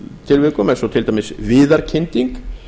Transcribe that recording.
tilvikum eins og til dæmis viðarkynding